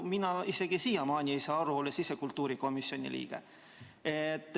Mina ei saa siiamaani aru, olles ise kultuurikomisjoni liige.